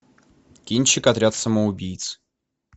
кинчик отряд самоубийц